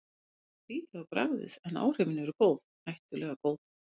Það er skrýtið á bragðið, en áhrifin eru góð, hættulega góð.